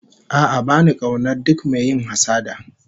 A'a ba ni kaunar duk mai yin hassada